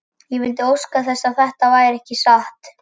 Ég vildi óska þess að þetta væri ekki satt.